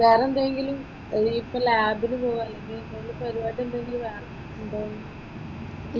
വെറെ എന്താ ചെയ്യല് അതിനിപ്പോൾ ലാബിന് പോകുവാണെങ്കിലും പരിപാടി എന്തെങ്കിലും വെറെ ഉണ്ടോ?